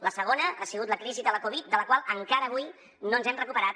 la segona ha sigut la crisi de la covid de la qual encara avui no ens hem recuperat